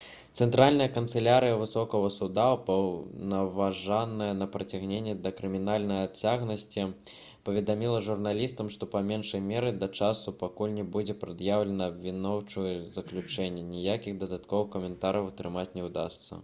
цэнтральная канцылярыя высокага суда упаўнаважаная на прыцягненне да крымінальнай адказнасці паведаміла журналістам што па меншай меры да таго часу пакуль не будзе прад'яўлена абвінаваўчае заключэнне ніякіх дадатковых каментарыяў атрымаць не ўдасца